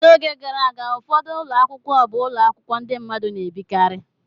N'oge gara aga, ụfọdụ ụlọ akwụkwọ bụ ụlọ akwụkwọ ndị mmadụ na-ebikarị.